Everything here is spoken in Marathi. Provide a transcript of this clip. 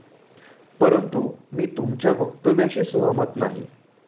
परंतु, मी तुमच्या वक्तव्याशी सहमत नाही.